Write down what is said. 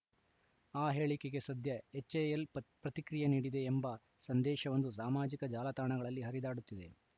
ಆ ಹೇಳಿಕೆಗೆ ಸದ್ಯ ಎಚ್‌ಎಎಲ್‌ ಪ್ತ ಪ್ರತಿಕ್ರಿಯೆ ನೀಡಿದೆ ಎಂಬ ಸಂದೇಶವೊಂದು ಸಾಮಾಜಿಕ ಜಾಲತಾಣಗಳಲ್ಲಿ ಹರಿದಾಡುತ್ತಿದೆ